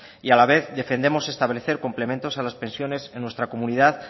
y a la vez defendemos establecer complementos a las pensiones en nuestra comunidad